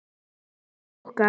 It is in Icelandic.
Hann Bjöggi okkar.